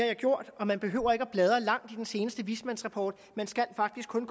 jeg gjort og man behøver ikke at bladre langt i den seneste vismandsrapport man skal faktisk kun